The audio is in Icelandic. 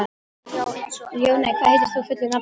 Ljóney, hvað heitir þú fullu nafni?